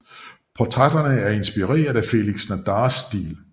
Portrætterne er inspireret af Félix Nadars stil